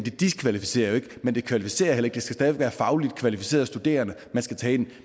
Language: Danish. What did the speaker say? diskvalificerer det ikke men det kvalificerer heller ikke stadig være fagligt kvalificerede studerende man skal tage ind